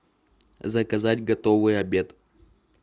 заказать готовый обед